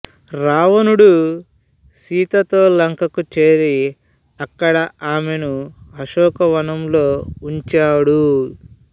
రావణుడు సీతతో లంకకు చేరి ఆక్కడ ఆమెను అశోకవనంలో ఉంచాడు